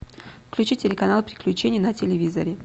включи телеканал приключения на телевизоре